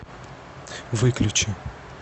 выключи